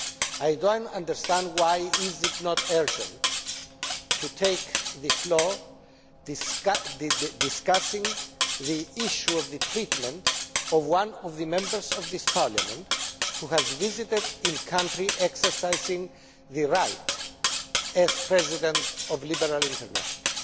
I do not understand why it is not urgent to take the floor, discussing the issue of the treatment of one of the Members of this Parliament who has visited a country exercising his right as President of Liberal International.